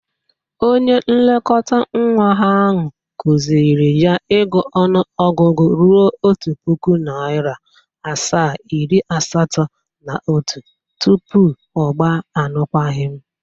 Onye nlekọtanwa ahụ kụzịrị ya ịgụ ọnụọgụgụ ruo otu pụkụ, narịa asaa, iri asatọ na otu tupu ọ gba arụkwaghịm.